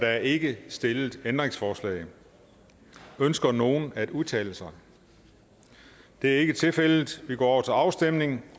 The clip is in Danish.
er ikke stillet ændringsforslag ønsker nogen at udtale sig det er ikke tilfældet vi går til afstemning